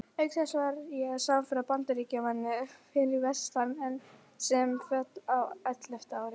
Auk þess var ég samferða Bandaríkjamanni fyrir vestan sem féll á ellefta ári.